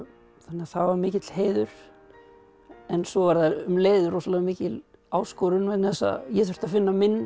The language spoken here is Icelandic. það var mikill heiður en svo var það um leið rosalega mikil áskorun vegna þess að ég þurfti að finna minn